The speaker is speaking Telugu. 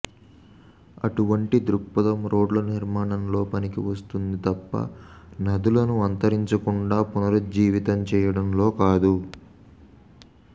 అటువంటి దృక్పథం రోడ్ల నిర్మాణంలో పనికి వస్తుంది తప్ప నదులను అంతరించకుండా పునరుజ్జీవింప చేయడంలో కాదు